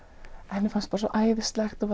henni fannst bara svo æðislegt og